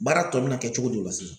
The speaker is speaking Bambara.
Baara tɔ bɛ na kɛ cogo di o la